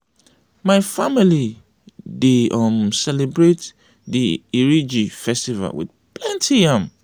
my family dey um celebrate di iriji festival wit plenty yam.